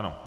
Ano.